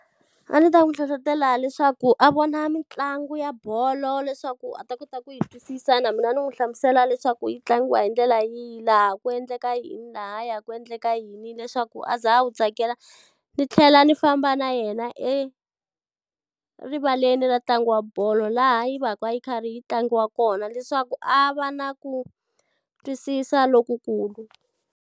A ndzi ta n'wi hlohletela leswaku a vona mitlangu ya bolo leswaku a ta kota ku yi twisisa na mina ni n'wi hlamusela leswaku yi tlangiwa hi ndlela yihi, laha ku endleka yini lahaya ku endleka yini leswaku a za a wu tsakela. Ni tlhela ni famba na yena erivaleni ra ntlangu wa bolo laha yi va ka yi karhi yi tlangiwa kona leswaku a va na ku twisisa lokukulu.